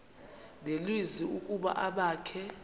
nelizwi ukuba abakhe